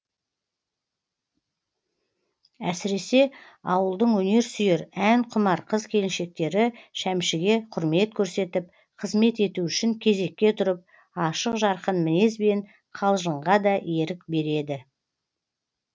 әсіресе ауылдың өнер сүйер ән құмар қыз келіншектері шәмшіге құрмет көрсетіп қызмет ету үшін кезекке тұрып ашық жарқын мінезбен қалжыңға да ерік береді